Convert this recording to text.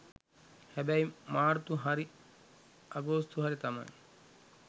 හැබැයි මාර්තු හරි අගෝස්තු හරි තමයි